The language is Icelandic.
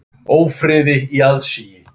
Ófriði í aðsigi.